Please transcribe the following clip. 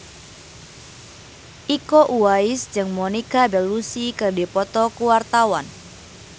Iko Uwais jeung Monica Belluci keur dipoto ku wartawan